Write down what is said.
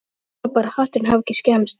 Ég vona bara að hatturinn hafi ekki skemmst